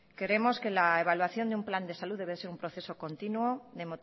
creemos que la evaluaciónde un plan de salud debe de ser un proceso continuo de